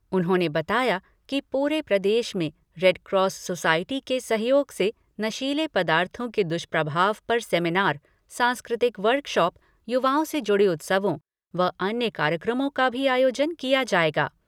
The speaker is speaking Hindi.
उन्होंने बताया कि पूरे प्रदेश में रेडक्रॉस सोसाइटी के सहयोग से नशीलें पदार्थों के दुष्प्रभाव पर सेमिनार, सांस्कृतिक वर्कशॉप, युवाओं से जुड़े उत्सवों व अन्य कार्यक्रमों का भी आयोजन किया जाएगा।